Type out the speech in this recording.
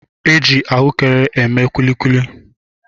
E ji ahụekere eme kulikuli